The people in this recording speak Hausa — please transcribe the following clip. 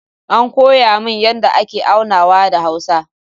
An koya min yadda ake aunawa da hausa